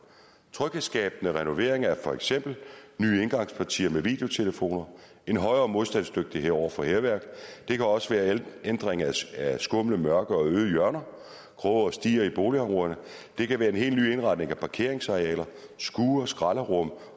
tryghedsskabende renovering er for eksempel nye indgangspartier med videotelefoner og en højere modstandsdygtighed over for hærværk det kan også være en ændring af skumle mørke og øde hjørner kroge og stier i boligområderne og det kan være en helt ny indretning af parkeringsarealer skure skralderum